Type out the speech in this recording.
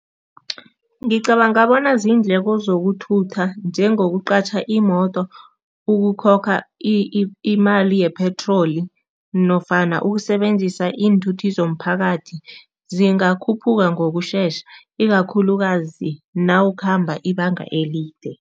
Ngicabanga bona ziindleko zokuthutha njengokuqatjha imoto, ukukhokha imali yepetroli nofana ukusebenzisa iinthuthi zomphakathi, zingakhuphuka ngokushesha ikakhulukazi nawukhamba ibanga elide.